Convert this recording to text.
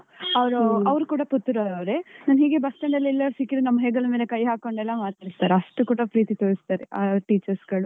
ಅವರೂ ಅವರ್ ಕೂಡಾ ಪುತ್ತೂರವರೆ, ನಾವ್ ಹೀಗೆ bus stand ಎಲ್ಲಾದ್ರೂ ಸಿಕ್ಕಿದ್ರೆ, ನಮ್ಮ ಹೆಗಲ ಮೇಲೆ ಎಲ್ಲ ಕೈ ಹಾಕೊಂಡೆಲ್ಲ ಮಾತಾಡ್ತಾರೆ. ಅಷ್ಟು ಕೂಡಾ ಪ್ರೀತಿ ತೋರಿಸ್ತಾರೆ ಆ teachers ಗಳು.